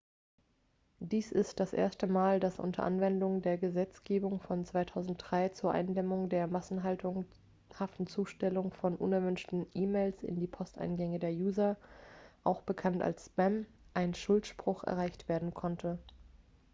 dies ist das erste mal dass unter anwendung der gesetzgebung von 2003 zur eindämmung der massenhaften zustellung von unerwünschten e-mails in die posteingänge der user auch bekannt als spam ein schuldspruch erreicht werden konnte